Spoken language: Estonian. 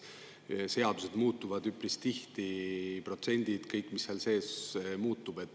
Seadused muutuvad üpris tihti, protsendid, kõik, mis seal sees, muutub.